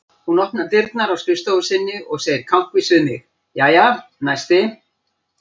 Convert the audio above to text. Hún opnar dyrnar á skrifstofu sinni og segir kankvís við mig: Jæja, næsti